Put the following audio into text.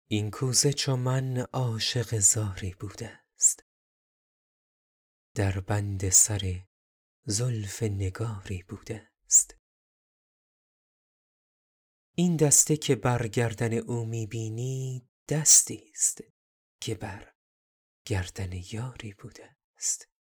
این کوزه چو من عاشق زاری بوده ست در بند سر زلف نگاری بوده ست این دسته که بر گردن او می بینی دستی ست که بر گردن یاری بوده ست